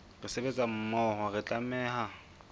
re sebetsa mmoho re tlameha